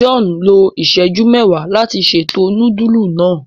John lo iṣẹju mẹwàá láti ṣètò nudulu náa.